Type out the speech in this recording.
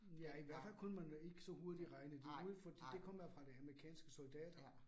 Ja i hvert fald kunne man ikke så hurtigt regne det ud fordi det kommer fra de amerikanske soldater